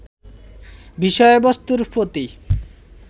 বিষয়বস্তুর প্রতি